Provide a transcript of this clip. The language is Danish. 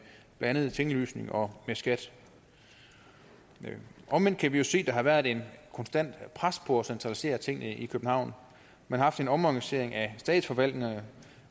blandt andet tinglysning og skat omvendt kan vi jo se at der har været et konstant pres på at centralisere tingene i københavn man har haft en omorganisering af statsforvaltningerne